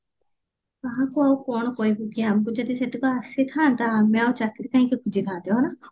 କାହାକୁ ଆଉ କଣ କରିବୁ କିଆଁ ଆମକୁ ଯଦି ସେତକ ଆସିଥାନ୍ତା ଆମେ ଆଉ ଚାକିରୀ କାହିଁକି ଖୋଜିଥାନ୍ତେ ହଁ ନା